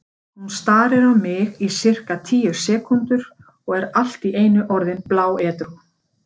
Hún starir á mig í sirka tíu sekúndur og er allt í einu orðin bláedrú.